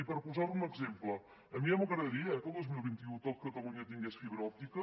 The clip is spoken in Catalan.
i per posar ara un exemple a mi ja m’agradaria eh que al dos mil vint u tot catalunya tingués fibra òptica